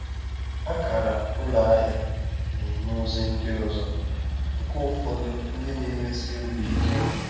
Akara ụlọ ahịa na-enye ozi ndị ọzọ, nke ụfọdụ ndị na-emesi obi ike.